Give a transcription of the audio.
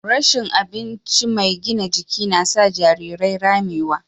Rashin abincin mai gina jiki na sa jarirai ramewa.